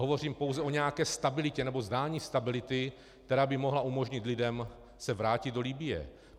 Hovořím pouze o nějaké stabilitě, nebo zdání stability, která by mohla umožnit lidem se vrátit do Libye.